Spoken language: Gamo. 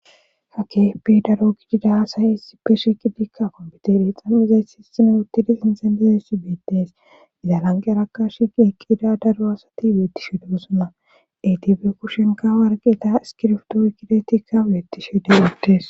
Ha kehepe daro gidida asay isipe sheqidikka kompitere deexanezey hisine uttidi sinxen detessi beetees izza langeraka shiqi eqqidida daro asati beettishi dosonna etika be kushenka warqeeta iskirftoo kidetikka weettishe de'ttees.